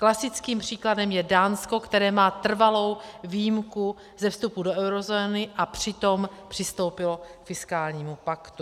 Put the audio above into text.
Klasickým příkladem je Dánsko, které má trvalou výjimku ze vstupu do eurozóny a přitom přistoupilo k fiskálnímu paktu.